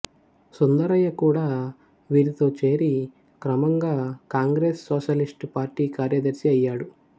సుందరయ్య కూడా వీరితో చేరి క్రమంగా కాంగ్రేస్ సోషలిస్టు పార్టీ కార్యదర్శి అయ్యాడు